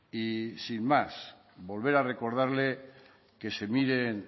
y sin más volver a recordarles que se miren